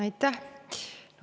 Aitäh!